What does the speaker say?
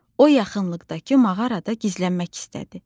O yaxınlıqdakı mağarada gizlənmək istədi.